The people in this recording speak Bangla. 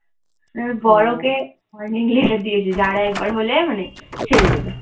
বড় ওকে warning letter দিয়েছে যে, আর একবার হলে মানে ছেড়ে দেবে।